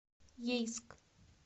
ейск